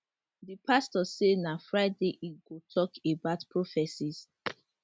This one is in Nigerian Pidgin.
di pastor say na friday e go tok about prophecies